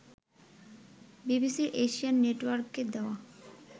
বিবিসির এশিয়ান নেটওয়ার্ককে দেওয়া